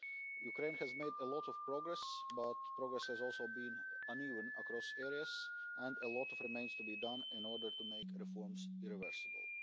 Ukraine has made a lot of progress, but progress has also been uneven across areas, and a lot remains to be done in order to make reforms irreversible.